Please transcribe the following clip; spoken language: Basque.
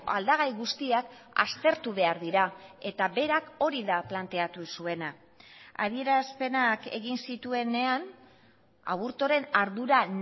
aldagai guztiak aztertu behar dira eta berak hori da planteatu zuena adierazpenak egin zituenean aburtoren ardura